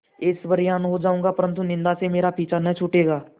ऐश्वर्यवान् हो जाऊँगा परन्तु निन्दा से मेरा पीछा न छूटेगा